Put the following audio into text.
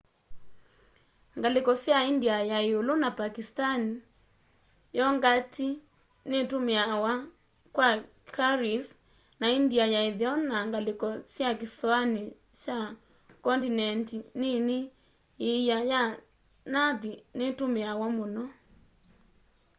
ngaliko sya india ya iulu na pakistani yongati nitumiawa kwa curries na india ya itheo na ngaliko sya kisoani kya kondineti nini iia ya nathi nitumiawa muno